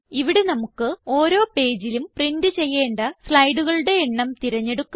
ഇവിടെ നമുക്ക് ഓരോ പേജിലും പ്രിന്റ് ചെയ്യേണ്ട സ്ലൈഡുകളുടെ എണ്ണം തിരഞ്ഞെടുക്കാം